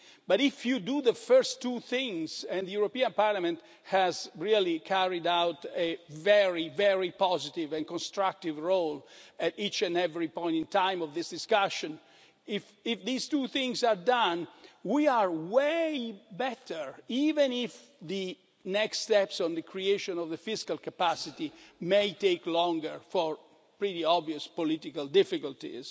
But if you do the first two things and the European Parliament has really carried out a very positive and constructive role at each and every point in time of this discussion if these two things are done, we are way better, even if the next steps on the creation of the fiscal capacity may take longer for pretty obvious political difficulties.